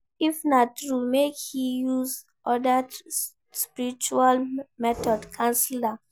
If na true make e use other spiritual method cancel am